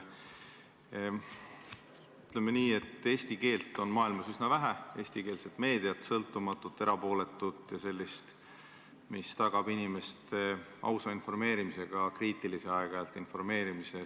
Ütleme nii, et eesti keelt on maailmas üsna vähe, eestikeelset meediat, sõltumatut, erapooletut ja sellist, mis tagab inimeste ausa ja aeg-ajalt ka kriitilise informeerimise.